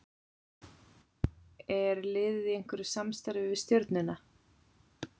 Er liðið í einhverju samstarfi við Stjörnuna?